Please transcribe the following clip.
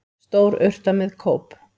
Stór urta með kóp.